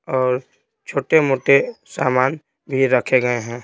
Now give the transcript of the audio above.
और छोटे-मोटे सामान भी रखे गए हैं।